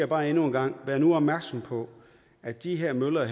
bare endnu en gang vær nu opmærksom på at de her møller